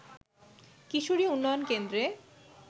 কিশোরী উন্নয়ন কেন্দ্রে